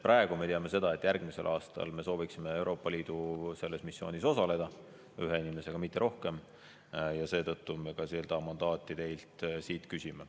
Praegu me teame seda, et järgmisel aastal me sooviksime Euroopa Liidu selles missioonis osaleda ühe inimesega, mitte rohkem, ja seetõttu me ka seda mandaati teilt küsime.